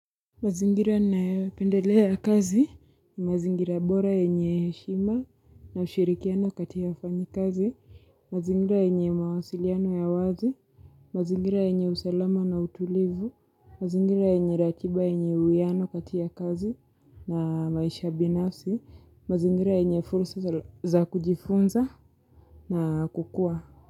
Mazingira nninayopendelea kazi, mazingira bora yenye heshima na ushirikiano kati ya wafanyakazi, mazingira yetu nye mawasiliano ya wazi, mazingira yenye usalama na utulivu, mazingira yenye ratiba yenye uwiano katika kazi na maisha binafsi, mazingira ynye fursa za kujifunza na kukua.